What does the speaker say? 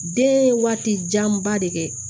Den ye waati janba de kɛ